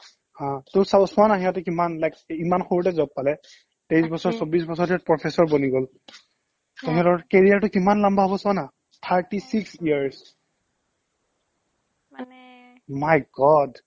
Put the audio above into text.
হা টৌ চা চোৱা না সিহতে কিমান like সৰুতে job পালে তেইছ বছৰ তাকে চৌবিশ বছৰতে professor বনি গ'ল career টো কিমান লামবা হ'ব চোৱানা thirty six years my god